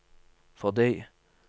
fordi